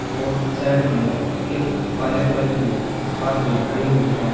और साइड में एक काले कलर की कार भी खड़ी हुई है।